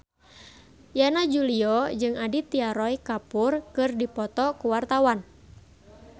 Yana Julio jeung Aditya Roy Kapoor keur dipoto ku wartawan